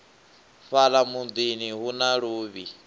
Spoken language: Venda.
fhala mudini hu na luvhi